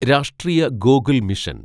രാഷ്ട്രീയ ഗോകുൽ മിഷൻ